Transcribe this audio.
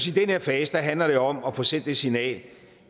i den her fase handler det om at få sendt det signal